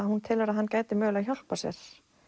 hún telur að hann gæti mögulega hjálpað sér